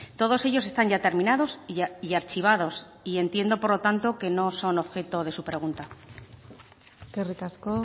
todos ellos están ya terminados y archivados y entiendo por lo tanto que no son objeto de su pregunta eskerrik asko